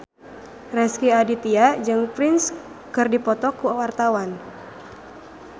Rezky Aditya jeung Prince keur dipoto ku wartawan